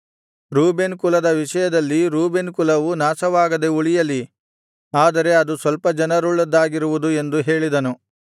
Reuben ಕುಲದ ವಿಷಯದಲ್ಲಿ Reuben ಕುಲವು ನಾಶವಾಗದೆ ಉಳಿಯಲಿ ಆದರೆ ಅದು ಸ್ವಲ್ಪ ಜನರುಳ್ಳದ್ದಾಗಿರುವುದು ಎಂದು ಹೇಳಿದನು